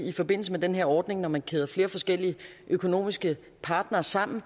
i forbindelse med den her ordning når man kæder flere forskellige økonomiske partnere sammen